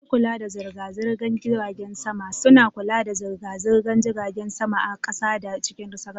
Masu kula da zirga-zirgar jiragen sama suna kula da zirga-zirgar jiragen sama a kasa da cikin sararin samaniya.